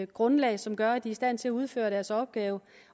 grundlag som gør at de er i stand til at udføre deres opgave